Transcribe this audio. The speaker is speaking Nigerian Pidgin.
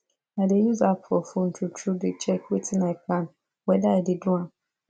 i dey use app for phone true true dey check wetin i plan weda i dey do am